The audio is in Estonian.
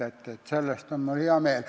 Selle üle on mul hea meel.